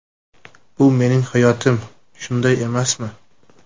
Bu mening hayotim, shunday emasmi?